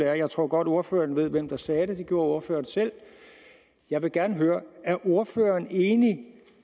jeg tror godt ordføreren ved hvem der sagde det for det gjorde ordføreren selv jeg vil gerne høre er ordføreren enig